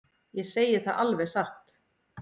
Ég segi það alveg satt.